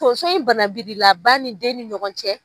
Tonso in banabilila ba ni den ni ɲɔgɔn cɛ.